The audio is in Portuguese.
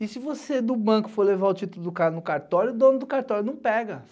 E se você do banco for levar o título do cara no cartório, o dono do cartório não pega.